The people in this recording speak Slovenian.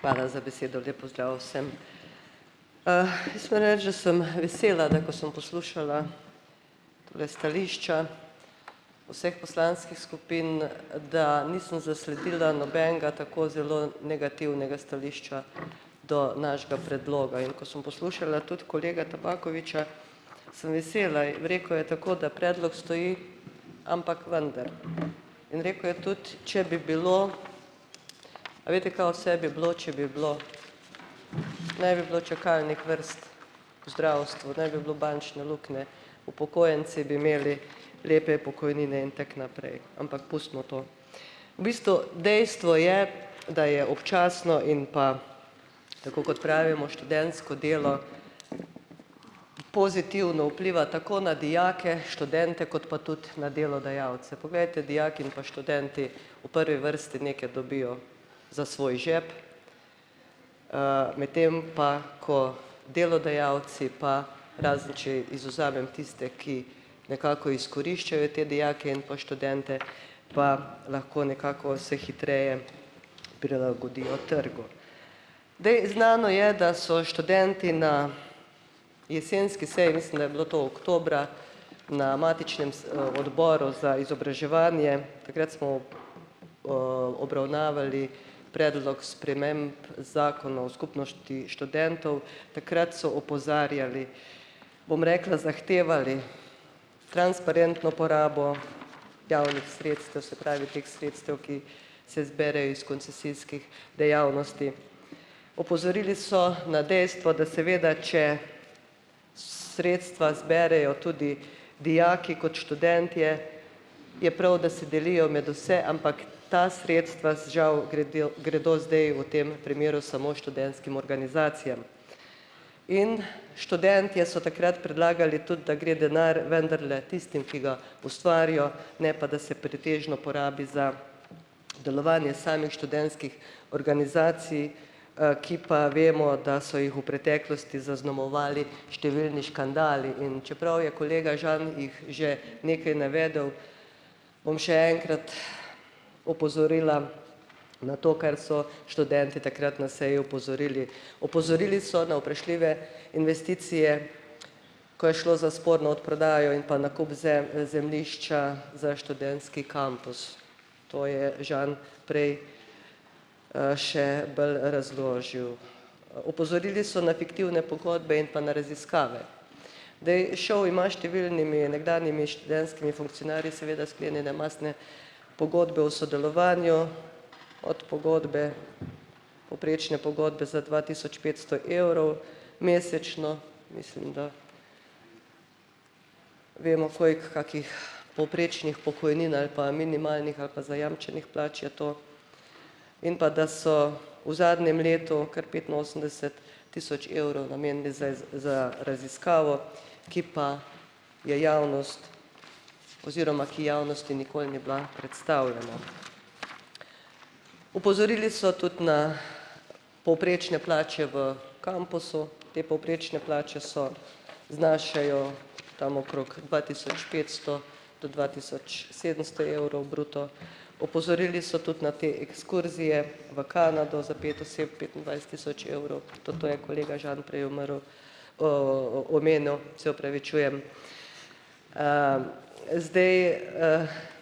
Hvala za besedo, lep pozdrav vsem. sem vesela, da ko sem poslušala tule stališča vseh poslanskih skupin, da nisem zasledila nobenega tako zelo negativnega stališča do našega predloga, in ko sem poslušala tudi kolega Tabakovića, sem vesela rekel je tako, da predlog stoji, ampak vendar. In rekel je tudi, če bi bilo. A veste, kaj vse bi bilo, če bi bilo? Ne bi bilo čakalnih vrst, v zdravstvu, ne bi bilo bančne luknje, upokojenci bi imeli lepe pokojnine in tako naprej, ampak pustimo to. V bistvu dejstvo je, da je občasno in pa, tako kot pravimo , študentsko delo, pozitivno vpliva tako na dijake, študente kot pa tudi na delodajalce. Poglejte, dijaki in pa študenti v prvi vrsti nekaj dobijo za svoj žep. medtem pa ko delodajalci pa, razen če izvzamem tiste, ki nekako izkoriščajo te dijake in po študente, pa lahko nekako se hitreje prilagodijo trgu. Zdaj, znano je, da so študenti na jesenski seji, mislim, da je bilo to oktobra, na matičnem odboru za izobraževanje, takrat smo, obravnavali predlog sprememb zakona o skupnosti študentov. Takrat so opozarjali, bom rekla, zahtevali transparentno porabo javnih sredstev, se pravi teh sredstev, ki se zberejo iz koncesijskih dejavnosti. Opozorili so na dejstvo, da seveda, če sredstva zberejo tudi dijaki kot študentje, je prav, da se delijo med vse, ampak ta sredstva, žal, gredjo gredo zdaj v tem primeru samo študentskim organizacijam. In študentje so takrat predlagali tudi, da gre denar vendarle tistim, ki ga ustvarijo, ne pa da se pretežno porabi za delovanje samih študentskih organizacij, ki pa, vemo, da so jih v preteklosti zaznamovali številni škandali. In čeprav je kolega Žan jih že nekaj navedel, bom še enkrat opozorila na to, kar so študentje takrat na seji opozorili. Opozorili so na vprašljive investicije, ko je šlo za sporno odprodajo in pa nakup zemljišča za študentski kampus. To je Žan prej, še bolj razložil. Opozorili so na fiktivne pogodbe in pa na raziskave. Zdaj, ŠOU ima številnimi nekdanjimi študentskimi funkcionarji seveda sklenjene mastne pogodbe o sodelovanju, od pogodbe, povprečne pogodbe za dva tisoč petsto evrov mesečno, mislim, da vemo, koliko kakih povprečnih pokojnin ali pa minimalnih ali pa zajamčenih plač je to. In pa da so v zadnjem letu kar petinosemdeset tisoč evrov namenili za za raziskavo, ki pa je javnost oziroma, ki javnosti nikoli ni bila predstavljena. Opozorili so tudi na povprečne plače v kampusu. Te povprečne plače so znašajo tam okrog dva tisoč petsto do dva tisoč sedemsto evrov bruto. Opozorili so tudi na te ekskurzije v Kanado za pet oseb, petindvajset tisoč evrov, to to je kolega Žan prej umrl, omenil, se opravičujem. zdaj,